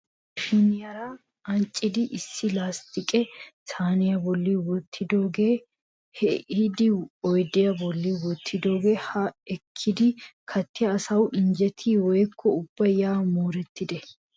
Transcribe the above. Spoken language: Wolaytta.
Ashuwa maashiniyaara ancciidi issi lasttiqe saaniya bolli wottidooga ehiidi oydiya bolli wottidooge ha ekkidi kattiya asay injjettiye woykko ubba ya moorettide?